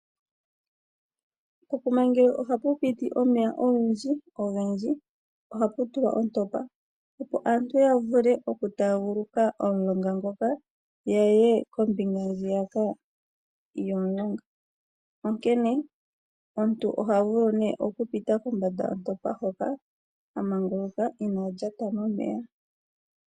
Pokuma ngele ohapu piti omeya ogendji ohapu tulwa ontopa opo aantu ya vuke oku taguluka omulonga ngoka yaye kombinga ndjiyaka yomulonga. Onkene omuntu oha vulu oku pita kombanda yontopa hoka amanguluka ina lyata momeya.